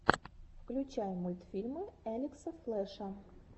включай мультфильмы элекса флэша